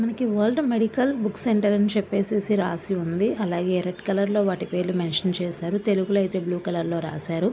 మనకు world medical book centre అని చెప్పిసి రాసి ఉంది. అలాగే రెడ్ కలర్ లో వాటి పేర్లు మెన్షన్ చేసారు. తెలుగు లో అయితే బ్లూ కలర్ లో రాసారు.